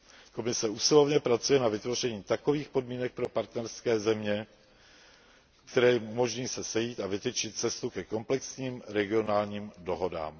Komise usilovně pracuje na vytvoření takových podmínek pro partnerské země, které jim umožní se sejít a vytyčit cestu ke komplexním regionálním dohodám.